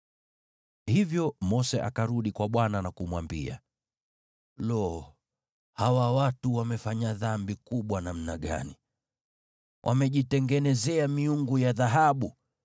Hivyo Mose akarudi kwa Bwana na kumwambia, “Lo! Hawa watu wamefanya dhambi kubwa namna gani! Wamejitengenezea miungu ya dhahabu.